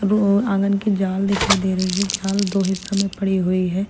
आंगन की जाल दिखाई दे रही है जाल दो हिस्सों में पड़ी हुई है।